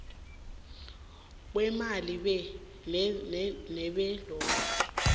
kweemali be nebelotto